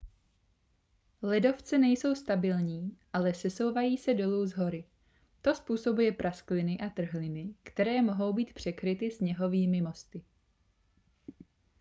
ledovce nejsou stabilní ale sesouvají se dolů z hory to způsobuje praskliny a trhliny které mohou být překryty sněhovými mosty